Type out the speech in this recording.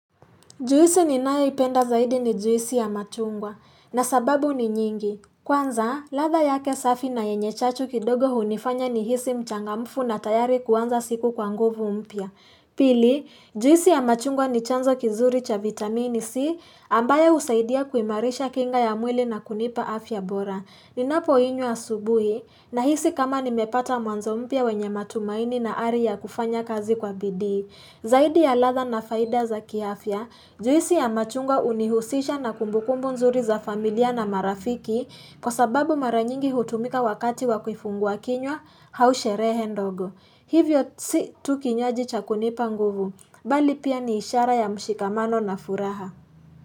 Juisi ninayoipenda zaidi ni juisi ya machungwa na sababu ni nyingi. Kwanza, ladha yake safi na yenye chachu kidogo hunifanya nihisi mchangamfu na tayari kuanza siku kwa nguvu mpya. Pili, juisi ya machungwa ni chanzo kizuri cha vitamini C ambayo husaidia kuimarisha kinga ya mwili na kunipa afya bora. Ninapoinywa asubuhi nahisi kama nimepata mwanzo mpya wenye matumaini na ari ya kufanya kazi kwa bidii. Zaidi ya ladha na faida za kiafya, juisi ya machungwa hunihusisha na kumbukumbu nzuri za familia na marafiki, kwa sababu mara nyingi hutumika wakati wa kifungua kinywa au sherehe ndogo. Hivyo si tu kinywaji cha kunipa nguvu, bali pia ni ishara ya mshikamano na furaha.